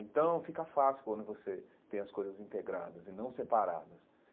Então, fica fácil quando você tem as coisas integradas e não separadas.